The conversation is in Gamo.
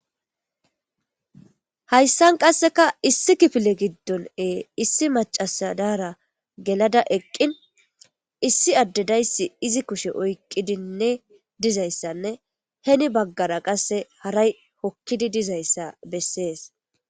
Hayssan qasseka issi kifile giddonee issi macasadara gelada eqqin issi addedayssi izi kushe oyqidinne dizayssanne heni baggara qasse haray hokkidi dizayssa bessees.